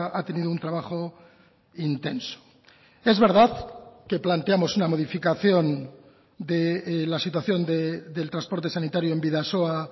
ha tenido un trabajo intenso es verdad que planteamos una modificación de la situación del transporte sanitario en bidasoa